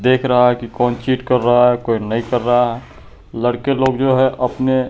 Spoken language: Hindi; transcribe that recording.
देख रहा है कौन चीट कर रहा है कोई नहीं कर रहा है लड़के लोग जो है अपने--